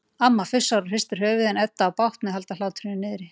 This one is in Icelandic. Amma fussar og hristir höfuðið en Edda á bágt með að halda hlátrinum niðri.